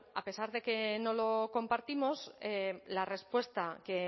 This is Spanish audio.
a pesar de que no lo compartimos la respuesta que